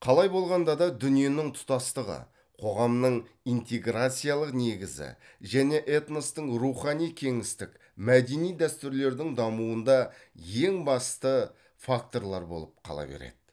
қалай болғанда да дүниенің тұтастығы қоғамның интеграциялық негізі және этностың рухани кеңістік мәдени дәстүрлердің дамуында ең басты факторлар болып қала береді